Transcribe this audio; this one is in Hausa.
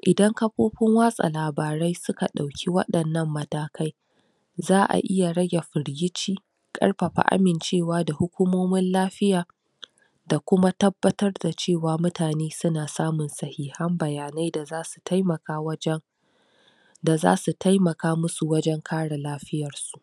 idan kafofin watsa labarai suka dauke wadan na matakai za'a iya rage firgice karfafa amincewa da hukumomin lafiya da kuma tabbatar da cewa mutane suna samun sahihan bayanai da za su taimaka wajan da zasu taimaka musu wajan kare lafiyar su.